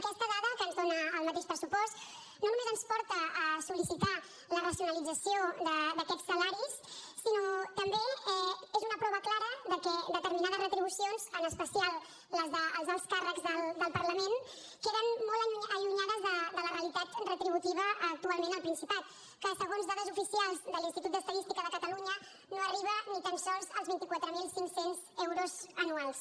aquesta dada que ens dona el mateix pressupost no només ens porta a sol·licitar la racionalització d’aquests salaris sinó que també és una prova clara de que determinades retribucions en especial les dels alts càrrecs del parlament queden molt allunyades de la realitat retributiva actualment al principat que segons dades oficials de l’institut d’estadística de catalunya no arriba ni tan sols als vint quatre mil cinc cents euros anuals